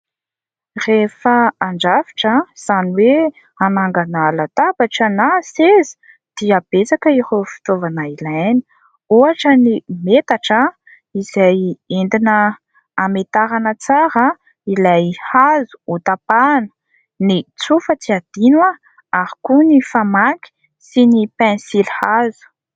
Rehefa handrafitra, izany hoe hanangana latabatra na seza dia betsaka ireo fitaovana ilaina. Ohatra ny metatra izay entina hanamentarana tsara ilay hazo hotapahana. Ny tsofa tsy adino, ary koa ny famaky sy ny penisilihazo.